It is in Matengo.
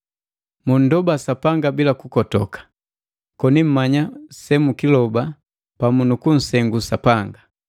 Mundoba Sapanga bila kukotoka, koni mmanya semukiloba pamu nu kunsengu Sapanga.